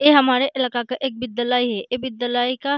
ये हमारे इलाका का एक विद्यलय है ये विद्यलय का --